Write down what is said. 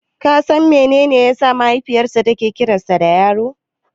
Ka san menene yasa mahaifiyarsa take kiransa da Yaro?